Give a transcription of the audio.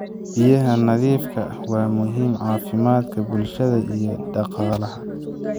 Biyaha nadiifka ah waa muhiim caafimaadka bulshada iyo dhaqaalaha.